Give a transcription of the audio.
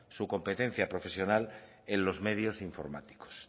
su competencia profesional en los medios informáticos